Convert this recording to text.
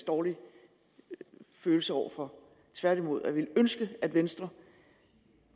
dårlige følelser over for tværtimod og jeg ville ønske at venstre